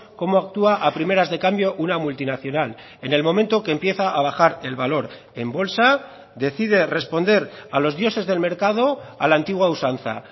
cómo actúa a primeras de cambio una multinacional en el momento que empieza a bajar el valor en bolsa decide responder a los dioses del mercado a la antigua usanza